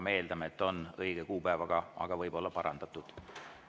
Me eeldame, et on õige kuupäev, ja see võib olla ka parandatud.